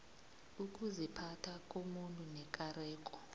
ukuziphatha komuntu nekareko